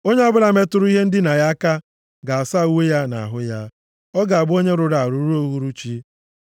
Onye ọbụla metụrụ ihe ndina ya aka, ga-asa uwe ya na ahụ ya. Ọ ga-abụ onye rụrụ arụ ruo uhuruchi.